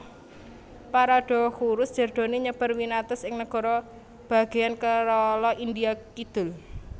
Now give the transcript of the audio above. Paradoxurus jerdoni nyebar winates ing negara bagéyan Kerala India kidul